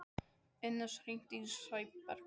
Ínes, hringdu í Sæberg.